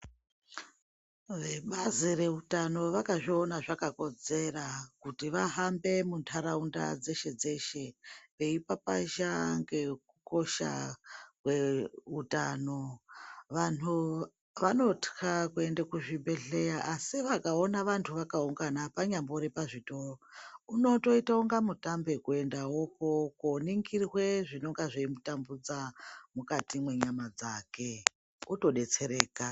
Vebazi reutano vakazviona zvakakodzera kuti vahambe vvahambe muntaraunda dzeshe-dzeshe veipapazha ngekukosha kweutano, vanhu vanotya kuenda kuzvibhedhleya asi vakaona vantu vakaungana panyambori pazvitoro unotoita unga mutambe kuendawopo koningirwe zvinonga zveimutambudza mukati mwenyama dzake otodetsereka.